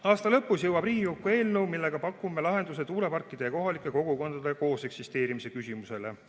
Aasta lõpus jõuab Riigikokku eelnõu, millega pakume lahenduse tuuleparkide ja kohalike kogukondade kooseksisteerimise küsimusele.